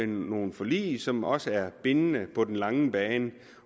nogle forlig som også er bindende på den lange bane